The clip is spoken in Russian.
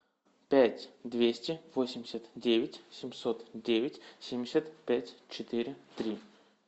пять двести восемьдесят девять семьсот девять семьдесят пять четыре три